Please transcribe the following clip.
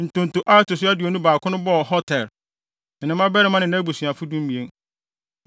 Ntonto a ɛto so aduonu baako no bɔɔ Hotir, ne ne mmabarima ne nʼabusuafo (12)